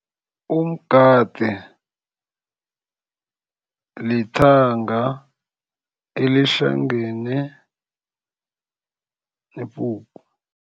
Umgade lithanga elihlangane nepuphu.